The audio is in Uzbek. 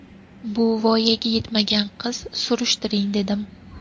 Bu voyaga yetmagan qiz, surishtiring dedim.